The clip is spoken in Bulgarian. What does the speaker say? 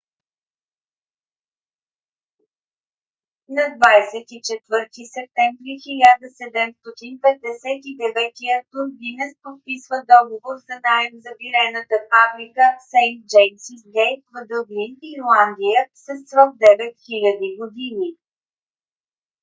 на 24 септември 1759 г. артур гинес подписва договор за наем за бирената фабрика сейнт джеймсис гейт в дъблин ирландия със срок 9000 години